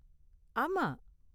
ஆமா.